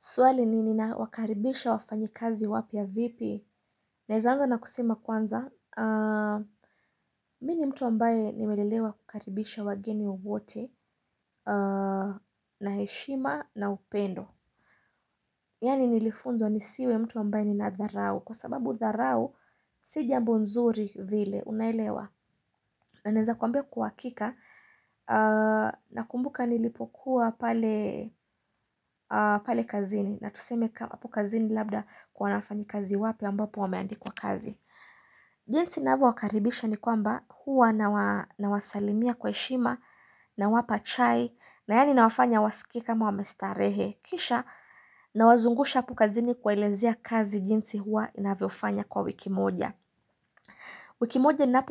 Swali ni nina wakaribisha wafanyi kazi wapya vipi. Naeza anza na kusemakwanza. Mini mtu ambaye nimelelewa kukaribisha wageni wote na heshima na upendo. Yani nilifunzwa nisiwe mtu ambaye nina dharau. Kwa sababu dharau sijambo nzuri vile unaelewa. Na naeza kwambia kwahakika na kumbuka nilipokuwa pale kazini. Na tuseme ka hap kazini labda kuna wanafanyi kazi wapya ambapo wameandikwa kazi jinsi navyo wakaribisha ni kwamba huwa na wasalimia kwa heshima na wapa chai na yani na wafanya wasikei kama wamestarehe Kisha na wazungusha hapo kazini kuwa elenzia kazi jinsi huwa inavyofanya kwa wikimoja Wikimoja na